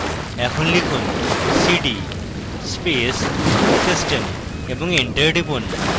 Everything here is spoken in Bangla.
এখন লিখুন cd space system এবং এন্টার টিপুন